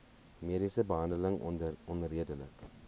mediese behandeling onredelik